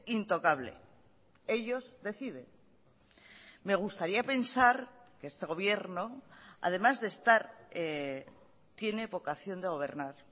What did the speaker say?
intocable ellos deciden me gustaría pensar que este gobierno además de estar tiene vocación de gobernar